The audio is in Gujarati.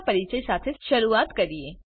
ના પરિચય સાથે શરુઆત કરીએ